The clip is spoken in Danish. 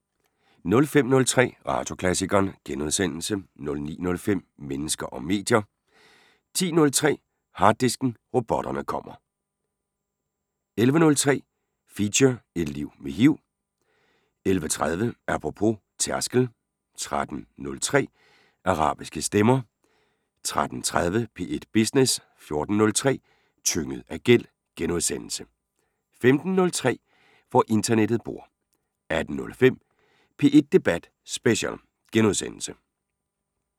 05:03: Radioklassikeren * 09:05: Mennesker og medier 10:03: Harddisken: Robotterne kommer 11:03: Feature: Et liv med HIV 11:30: Apropos - tærskel 13:03: Arabiske stemmer 13:30: P1 Business 14:03: Tynget af gæld * 15:03: Hvor internettet bor 18:05: P1 Debat Special *